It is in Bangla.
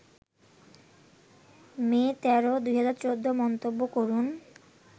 মে ১৩, ২০১৪ মন্তব্য করুন